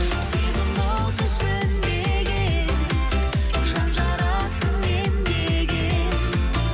сезім оты сөнбеген жан жарасын емдеген